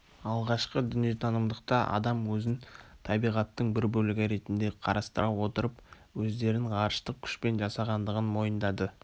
алғашқы дүниетанымдықта адам өзін табиғаттың бір бөлігі ретінде қарастыра отырып өздерін ғарыштық күшпен жасағандығын мойындады